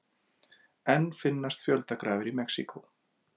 Enn finnast fjöldagrafir í Mexíkó